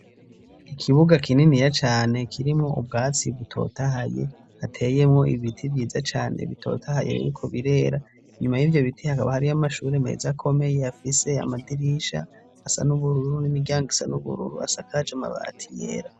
Ikibuga kininiya cane kirimwo ubwatsi butotahaye, hateyemwo ibiti vyiza cane bitotahaye, biriko birera, inyuma y'ivyo biti hakaba hariyo amashuri meza komeye, afise amadirisha asa n'ubururu n'imiryango isa n'ubururu, asakaje mabati yera.